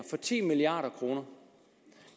for ti milliard kroner